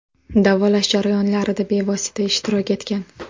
Davolash jarayonlarida bevosita ishtirok etgan.